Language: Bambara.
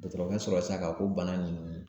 Dɔgɔtɔrɔkɛ sɔrɔla sira k'a fɔ ko bana ninnu